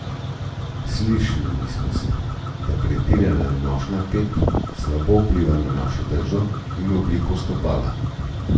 Slišali smo že, da pretirana nošnja pet slabo vpliva na našo držo in obliko stopala.